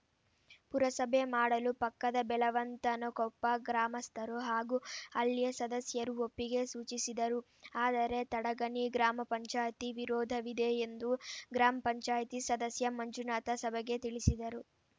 ಪುರಸಭೆ ಮಾಡಲು ಪಕ್ಕದ ಬೆಲವಂತನಕೊಪ್ಪ ಗ್ರಾಮಸ್ಥರು ಹಾಗು ಅಲ್ಲಿಯ ಸದಸ್ಯರು ಒಪ್ಪಿಗೆ ಸೂಚಿಸಿದರು ಆದರೆ ತಡಗಣಿ ಗ್ರಾಮ ಪಂಚಾಯತಿ ವಿರೋಧವಿದೆ ಎಂದು ಗ್ರಾಮ ಪಂಚಾಯತಿ ಸದಸ್ಯ ಮಂಜುನಾಥ ಸಭೆಗೆ ತಿಳಿಸಿದರು